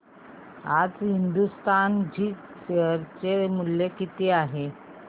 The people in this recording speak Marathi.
आज हिंदुस्तान झिंक शेअर चे मूल्य किती आहे